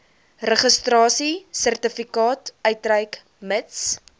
registrasiesertifikaat uitreik mits